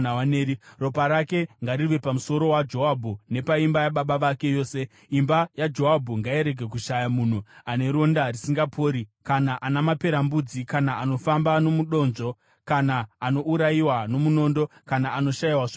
Ropa rake ngarive pamusoro waJoabhu nepaimba yababa vake yose! Imba yaJoabhu ngairege kushaya munhu ane ronda risingapori, kana ana maperembudzi, kana anofamba nomudonzvo, kana anourayiwa nomunondo, kana anoshayiwa zvokudya.”